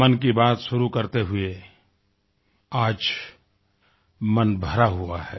मन की बात शुरू करते हुए आज मन भरा हुआ है